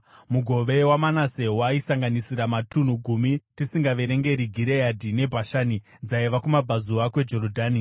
Mugove waManase waisanganisira matunhu gumi tisingaverengi Gireadhi neBhashani dzaiva kumabvazuva kweJorodhani,